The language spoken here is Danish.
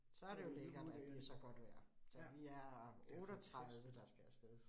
Så det jo lækkert, at det så godt vejr. Så vi er 38, der skal af sted